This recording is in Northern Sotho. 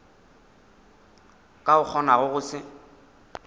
ka o kgonago go se